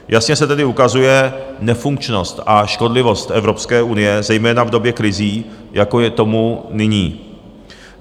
Jasně se tedy ukazuje nefunkčnost a škodlivost Evropské unie, zejména v době krizí, jako je tomu nyní.